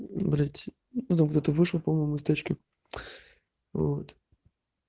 блядь ну там кто-то вышел из тачки вот